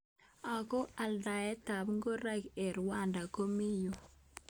Ako aldaet ab ngoroik eng Rwanda komi nguny.